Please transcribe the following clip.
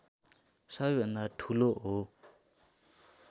सबैभन्दा ठूलो हो